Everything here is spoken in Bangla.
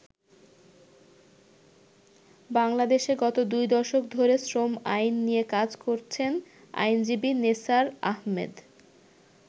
বাংলাদেশে গত দুই দশক ধরে শ্রম আইন নিয়ে কাজ করছেন আইনজীবী নেসার আহমেদ।